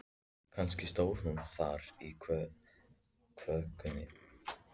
Kannski stóð hún þar í þvögunni.